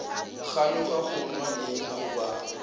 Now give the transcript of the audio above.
kganyoga go nwa eng goba